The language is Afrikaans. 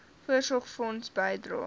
voorsorgfonds bydrae